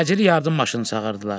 Təcili yardım maşınını çağırdılar.